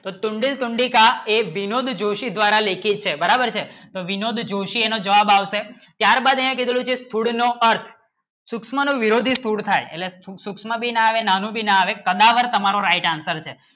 તો તુંડી તુંડી જ એક વિનોદ લેખક દ્વારા લેખિત છે બરાબર છે તો વિનોદ જોશી એનો જવાબ આવશે ચાર બીજે ચૂડીનો અર્થ સુક્ષ્મો નો વિરોધી સુદ થાય સૂક્ષ્મ ભી ના આવે નાનું ભી ના આવે પણ તમારો right answer છે